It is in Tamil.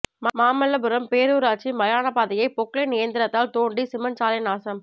மாமல்லபுரம் பேரூராட்சி மயான பாதையை பொக்லைன் இயந்திரத்தால் தோண்டி சிமென்ட் சாலை நாசம்